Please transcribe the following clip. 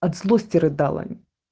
от злости рыдала